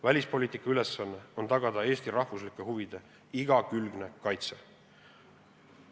Välispoliitika ülesanne on tagada Eesti rahvuslike huvide igakülgne kaitse.